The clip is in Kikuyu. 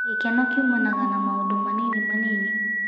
Furaha hutokana na mambo madogo-madogo.